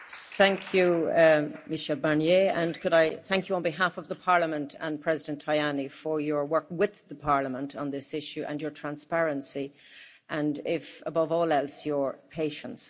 Thank you, Mr Barnier, and could I thank you on behalf of the Parliament and President Tajani for your work with Parliament on this issue, your transparency and, above all else, your patience.